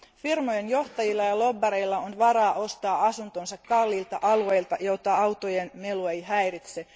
Firmojen johtajilla ja lobbareilla on varaa ostaa asuntonsa kalliilta alueilta, joita autojen melu ei häiritse.